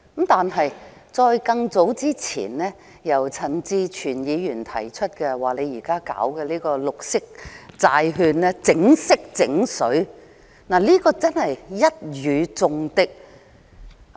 但更早之前，陳志全議員說現時推出的綠色債券"整色整水"，的確一語中的。